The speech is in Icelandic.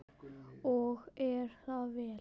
Og er það vel.